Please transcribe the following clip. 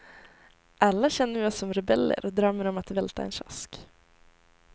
Alla känner vi oss som rebeller och drömmer om att välta en kiosk.